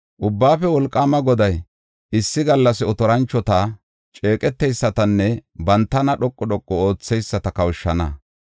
Ubbaafe Wolqaama Goday, issi gallas otoranchota, ceeqeteysatanne bantana dhoqu dhoqu ootheyisata kawushana.